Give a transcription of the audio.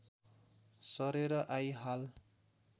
सरेर आई हाल